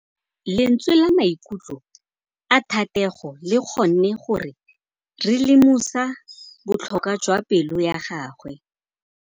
Lentswe la maikutlo a Thategô le kgonne gore re lemosa botlhoko jwa pelô ya gagwe.